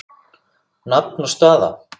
Nafn og staða?